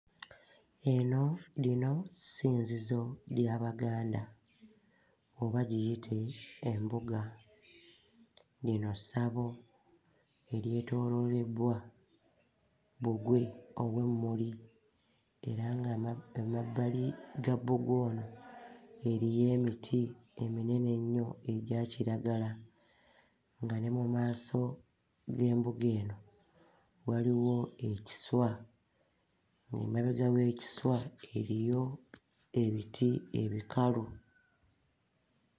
Eno lino ssinzizo ly'Abaganda oba giyite embuga. Lino ssabo eryetooloolebbwa bbugwe ow'emmuli era ng'ama... emabbali ga bbugwe ono eriyo emiti eminene ennyo egya kiragala nga ne mu maaso g'embuga eno waliwo ekiswa, ng'emabega w'ekiswa eriyo ebiti ebikalu.